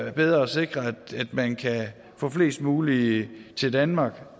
er bedre at sikre at man kan få flest mulige til danmark